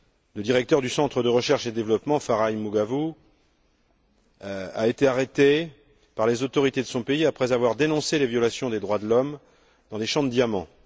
Le directeur du Centre de recherche et de développement, Farai Maguwu, a été arrêté par les autorités de son pays après avoir dénoncé les violations des droits de l'homme dans des champs de diamants.